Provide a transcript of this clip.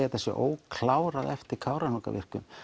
þetta sé óklárað eftir Kárahnjúkavirkjun